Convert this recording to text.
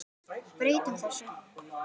Breytum þessu!